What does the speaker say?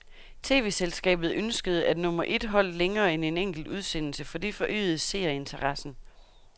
Tv-selskabet ønskede, at nummer et holdt længere end en enkelt udsendelse, for det forøgede seerinteressen.